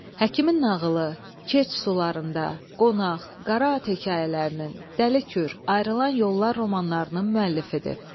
Həkimin nağılı, Keç çay sularında, Qonaq, Qara at hekayələrinin, Dəli Kür, Ayrılan yollar romanlarının müəllifidir.